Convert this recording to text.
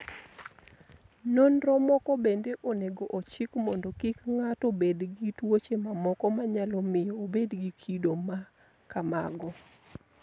Nonro mamoko bende onego ochik mondo kik ng'ato bed gi tuoche mamoko manyalo miyo obed gi kido ma kamago.